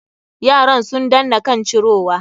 Yaran sun danna kan cirowa.